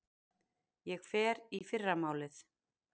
Ég fer í fyrramálið.